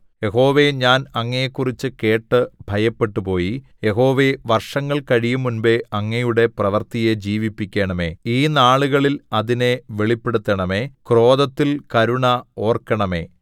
യഹോവേ ഞാൻ അങ്ങയെക്കുറിച്ച് കേട്ട് ഭയപ്പെട്ടുപോയി യഹോവേ വർഷങ്ങൾ കഴിയുംമുമ്പ് അങ്ങയുടെ പ്രവൃത്തിയെ ജീവിപ്പിക്കണമേ ഈ നാളുകളിൽ അതിനെ വെളിപ്പെടുത്തണമേ ക്രോധത്തിൽ കരുണ ഓർക്കണമേ